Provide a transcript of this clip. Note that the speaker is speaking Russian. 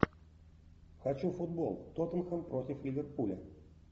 хочу футбол тоттенхэм против ливерпуля